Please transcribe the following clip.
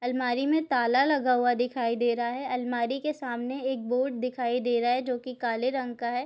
अलमारि में ताला लगा हुआ दिखाई दे रहा है अलमारि के सामने एक बोर्ड दिखाई दे रहा है जो की काले रंग का है।